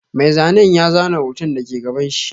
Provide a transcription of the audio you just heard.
Mai zanen ya zana hoton da ke gabanshi.